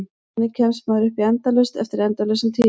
Þannig kemst maður upp í endalaust eftir endalausan tíma.